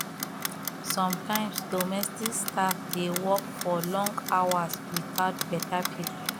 sometimes domestic staff dey work for long hours without better pay